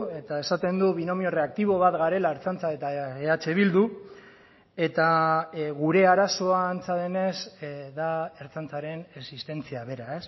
eta esaten du binomio erreaktibo bat garela ertzaintza eta eh bildu eta gure arazoa antza denez da ertzaintzaren existentzia bera